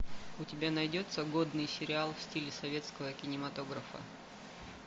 у тебя найдется годный сериал в стиле советского кинематографа